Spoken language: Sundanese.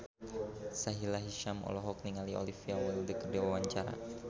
Sahila Hisyam olohok ningali Olivia Wilde keur diwawancara